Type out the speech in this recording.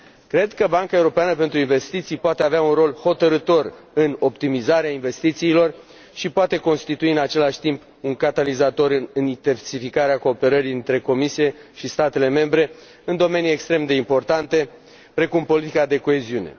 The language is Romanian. Cred că Banca Europeană de Investiții poate avea un rol hotărâtor în optimizarea investițiilor și poate constitui, în același timp, un catalizator în intensificarea cooperării dintre Comisie și statele membre în domenii extrem de importante, precum politica de coeziune.